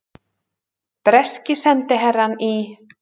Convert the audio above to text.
Breski sendiherrann í